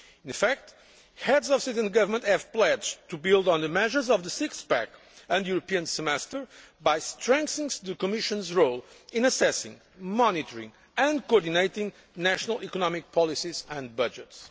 In effect, Heads of State and Government have pledged to build on the measures of the six pack' and the European Semester by strengthening the Commission's role in assessing, monitoring and coordinating national economic policies and budgets.